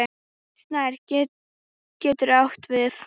Snær getur átt við